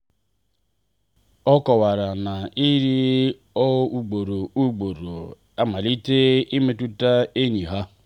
ọ kọwara na ịrị o ugboro ugboro amalitela imetụta enyi ha.